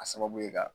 A sababu ye ka